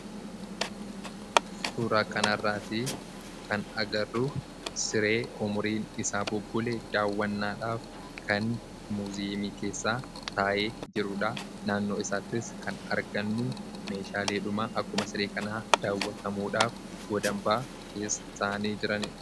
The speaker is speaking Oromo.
suuraa kan arraatii kan agarruu siree umuriin isaa bubbulee daawwannaadhaaf kan muzemii keessaa taa'ee jiruudha naannoo isaattis kan argannuu meeshaa leedhumaa akkuma siree kanaa daawwatamuudhaaf godambaa keessa ta'anii jiraniira